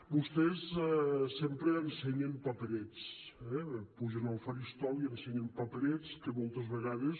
vostès sempre ensenyen paperets eh pugen al faristol i ensenyen paperets que moltes vegades